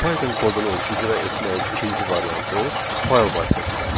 Python kodunun icra etməyin ikinci variantı fayl vasitəsilədir.